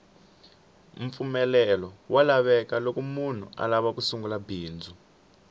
mpfumelelo wa lavekaloko munhu alava ku sungula bindzu